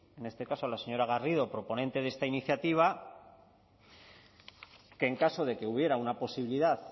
en este caso a la señora garrido proponente de esta iniciativa que en caso de que hubiera una posibilidad